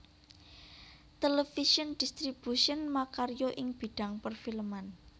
Television Distribution makarya ing bidhang perfilman